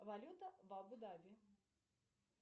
валюта в абу даби